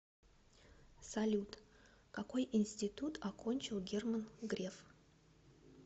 салют какой интситут окончил герман греф